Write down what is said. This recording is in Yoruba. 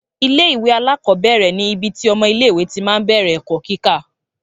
Ilé ìwé alákọ̀ọ́bẹ̀rẹ̀ ní ibi tí ọmọ ilé ìwé tí máa ń bẹ̀rẹ̀ ẹ̀kọ́ kíkà